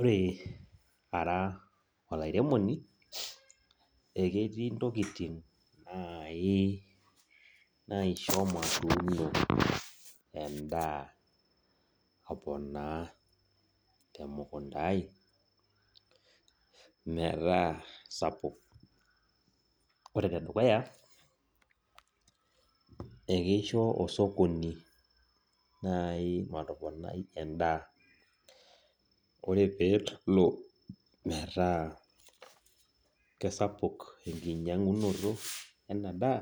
Ore ara olairemoni eketii intokitin naisho matuuno endaa aponaa temukunda aai metaa sapuk ore enedukuya eikesho osokoni matoponai endaa ore peelo metaa keisapuk enkinyiangunoto endaa